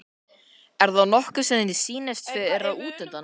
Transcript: er það nokkur sem þér sýnist vera útundan?